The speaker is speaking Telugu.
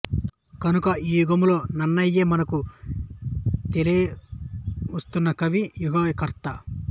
కనుక ఈ యుగంలో నన్నయయే మనకు తెలియవస్తున్న కవి యుగకర్త